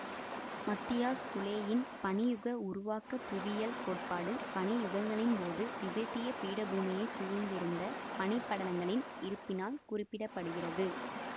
மத்தியாஸ் குலேயின் பனி யுக உருவாக்க புவியியல் கோட்பாடு பனி யுகங்களின்போது திபெத்திய பீடபூமியை சூழ்ந்திருந்த பனிப்படலங்களின் இருப்பினால் குறிப்பிட படுகிறது